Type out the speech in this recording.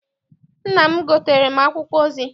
Nna m gotere akwụkwọ ozi.